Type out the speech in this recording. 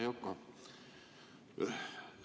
Hea Yoko!